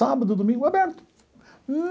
Sábado, domingo, aberto.